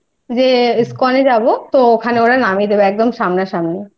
যে ISKCON এ যাব তো ওখানে ওরা নামিয়ে দেবে একদম সামনাসামনি